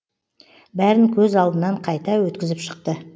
бәрін көз алдынан қайта өткізіп шықты